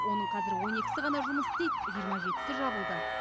оның қазір он екісі ғана жұмыс істейді жиырма жетісі жабылды